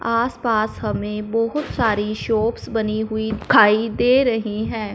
आसपास हमें बोहुत सारी शॉप्स बनी हुई दिखाई दे रही हैं।